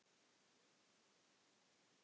Get ekki séð fyrir því.